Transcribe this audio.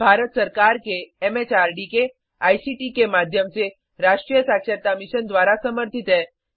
यह भारत सरकार के एम एच आर डी के आई सी टी के माध्यम से राष्ट्रीय साक्षरता मिशन द्वारा समर्थित है